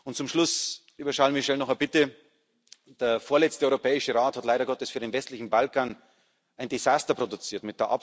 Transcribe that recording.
Und zum Schluss, lieber Charles Michel, noch eine Bitte Der vorletzte Europäische Rat hat leider Gottes für den westlichen Balkan ein Desaster produziert.